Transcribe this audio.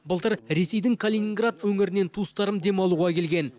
былтыр ресейдің калининград өңірінен туыстарым демалуға келген